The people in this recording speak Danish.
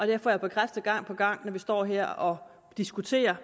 det får jeg bekræftet gang på gang når vi står her og diskuterer